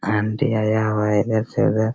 aunty आई हुईं हैं इधर से उधर से--